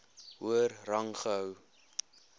hoër rang gehou